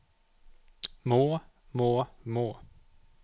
må må må